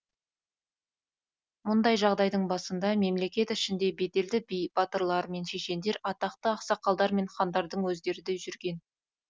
мұндай жағдайдың басында мемлекет ішінде беделді би батырлар мен шешендер атақты ақсақалдар мен хандардың өздері де жүрген